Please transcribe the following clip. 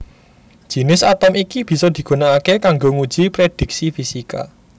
Jinis atom iki bisa digunakaké kanggo nguji prédhiksi fisika